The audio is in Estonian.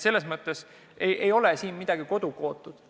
Selles mõttes ei ole siin midagi kodukootud.